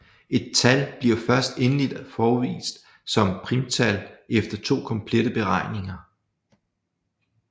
Et tal bliver først endeligt afvist som primtal efter to komplette beregninger